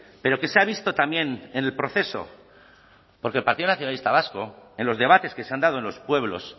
pero que se ha visto también en el proceso porque el partido nacionalista vasco en los debates que se han dado en los pueblos